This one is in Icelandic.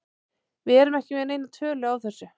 Við erum ekki með neina tölu á þessu.